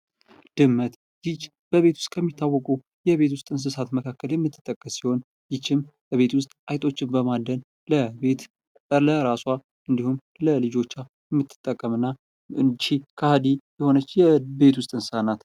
ድመት፦ ይች በቤት ውስጥ ከሚታወቁ የቤት ውስጥ እንስሳት መካከል የምትጠቀስ ሲሆን ይችም በቤት ውስጥ አይጦችን በማደን ለቤት፣ ለራሷ እንዲሁም ለልጆቿ የምትጠቀም እና ይች ከሀዲ የሆነች የቤት ውስጥ እንስሳ ናት።